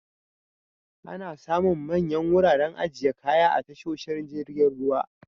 Ana samun manyan wuraren ajiye kaya a tasoshin jirgin ruwa.